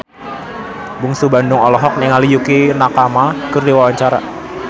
Bungsu Bandung olohok ningali Yukie Nakama keur diwawancara